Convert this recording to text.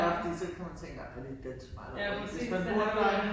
Det bare fordi så kan man tænke ej der lidt Dan Turèll over det hvis man bor